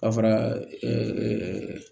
A fara